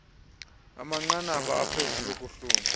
amanqanaba aphezulu okuhluma